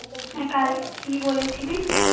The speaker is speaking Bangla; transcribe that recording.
কি বলেছিলি